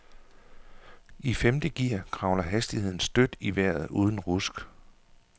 I femte gear kravler hastigheden støt i vejret uden rusk.